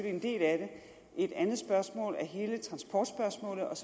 en del af det et andet spørgsmål er hele transportspørgsmålet og